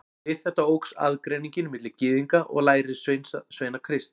Við þetta óx aðgreiningin milli Gyðinga og lærisveina Krists.